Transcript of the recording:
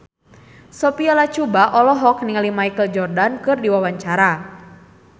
Sophia Latjuba olohok ningali Michael Jordan keur diwawancara